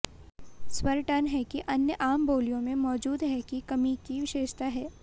स्वर टन है कि अन्य आम बोलियों में मौजूद हैं की कमी की विशेषता है